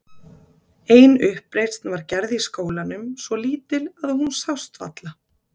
Ein uppreisn var gerð í skólanum, svo lítil að hún sást varla.